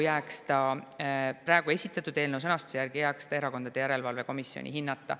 Esitatud eelnõu sõnastuse järgi jääks see praegu erakondade järelevalve komisjoni hinnata.